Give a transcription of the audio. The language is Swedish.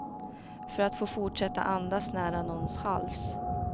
För att få fortsätta andas nära någons hals.